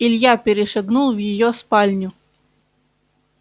илья перешагнул в её спальню